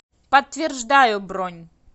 подтверждаю бронь